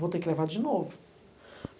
Vou ter que levar de novo.